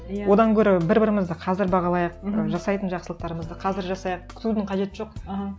одан гөрі бір бірімізді қазір бағалайық жасайтын жақсылықтарымызды қазір жасайық күтудің қажеті жоқ аха